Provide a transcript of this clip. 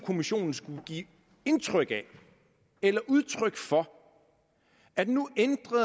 kommissionen skulle give indtryk af eller udtryk for